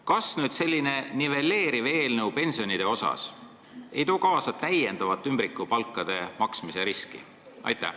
Kas selline pensione nivelleeriv eelnõu ei too kaasa täiendavat ümbrikupalkade maksmise riski?